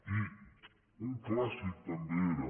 i un clàssic també era